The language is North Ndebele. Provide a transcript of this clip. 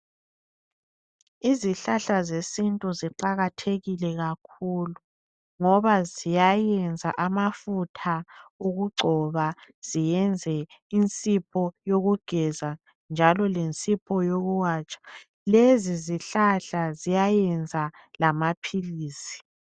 Izihlahla zesintu ziqakathekile kakhulu ngoba ziyayenza amafutha okugcoba ziyenze isepa yokugeza njalo lesepa yokuwatsha lezi zihlahla ziyayenza lamaphilisi.